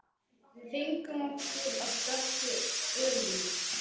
Við fengum okkur af dökku ölinu.